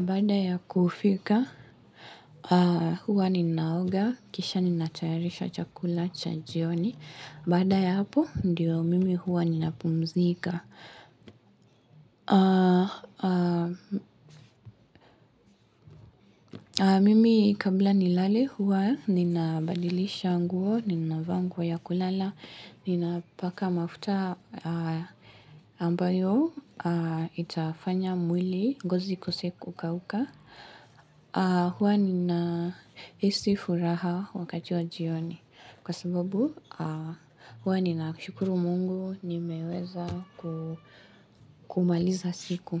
Baada ya kufika, huwa ninaoga. Kisha ninatayarisha chakula cha jioni. Baada ya hapo, ndiyo mimi huwa ninapumzika. Mimi kabla nilale huwa ninabadilisha nguo, ninavaa nguo ya kulala, ninapaka mafuta ambayo itafanya mwili ngozi ikose kukauka. Huwa ninahisi furaha wakati wa jioni kwa sababu huwa ninashukuru mungu nimeweza kumaliza siku.